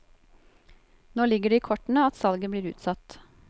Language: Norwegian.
Nå ligger det i kortene at salget blir utsatt.